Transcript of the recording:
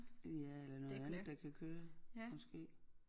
Ja eller noget andet der kan køre måske